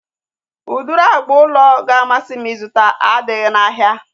Udiri agba ụlọ ga-amasị m ịzụta adịghị n'ahịa